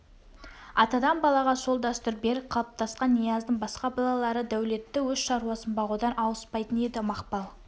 атадан балаға сол дәстүр берік қалыптасқан нияздың басқа балалары дәулетті өз шаруасын бағудан ауыспайтын еді мақпал